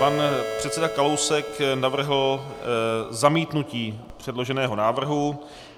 Pan předseda Kalousek navrhl zamítnutí předloženého návrhu.